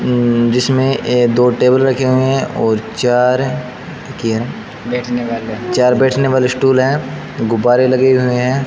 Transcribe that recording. अं जिसमें ये दो टेबल रखे हुए हैं और ये क्या चार बैठने वाले स्टूल है गुब्बारे लगे हुए हैं।